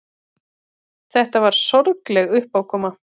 Þetta var sorgleg uppákoma.